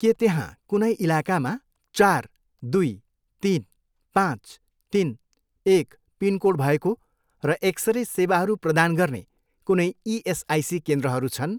के त्यहाँ कुनै इलाकामा चार, दुई, तिन, पाँच, तिन, एक पिनकोड भएको र एक्सरे सेवाहरू प्रदान गर्ने कुनै इएसआइसी केन्द्रहरू छन्।